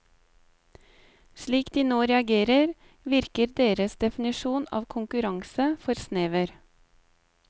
Slik de nå reagerer, virker deres definisjon av konkurranse for snever.